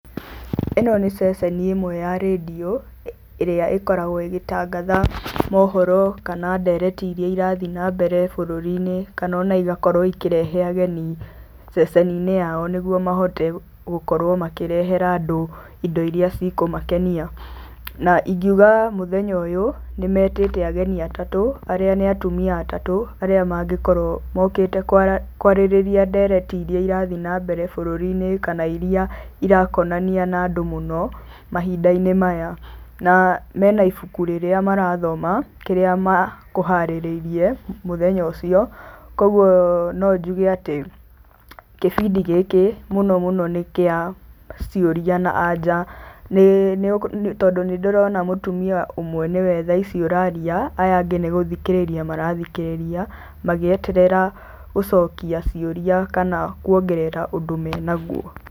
Ĩno nĩ ceceni ĩmwe ya redio ĩrĩa ĩkoragwo ĩgĩtangatha mohoro kana ndereti iria irathiĩ na mbere bũrũri-inĩ kana igakorwo ikĩrehe ageni ceceni-inĩ yao nĩguo mahote gũkorwo makĩrehera andũ indo iria cikũmakenia. Na ingiuga mũthenya ũyũ, nĩmetĩte ageni atatũ arĩa nĩ atumia atatũ, arĩa mangĩkorwo mokĩte kũarĩrĩria ndereti iria irathiĩ na mbere bũrũri-inĩ kana iria irakonania na andũ mũno mahinda-inĩ maya. Na mena ibuku rĩrĩa marathoma kĩrĩa makũharĩrĩirie mũthenya ũcio, koguo no njuge atĩ kĩbindi gĩkĩ mũno mũno nĩ kĩa ciũria na anja tondũ nĩ ndĩrona mũtumia ũmwe nĩ we thaici ũraria, aya angĩ nĩ gũthikĩrĩria marathikĩrĩria magĩeterera gũcokia ciũria kana kuongerera ũndũ menaguo.